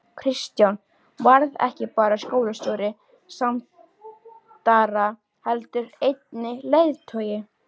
Kristján varð ekki bara skólastjóri Sandara heldur einnig leiðtogi.